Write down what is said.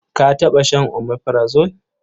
Ka taɓa shan omeprazole?